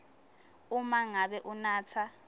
uma ngabe unatsa